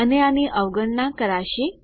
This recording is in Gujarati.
અને આની અવગણના કરાશે